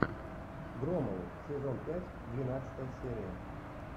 громовы сезон пять двенадцатая серия